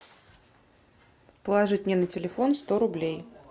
положить мне на телефон сто рублей